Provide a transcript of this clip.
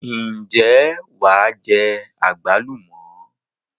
Ǹjẹ́ wàá jẹ àgbálùmọ̀?